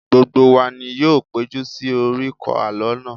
Gbogbo wa ni yóò péjú sí oríkò alọ náà